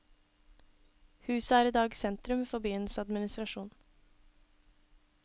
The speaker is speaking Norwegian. Huset er i dag sentrum for byens administrasjon.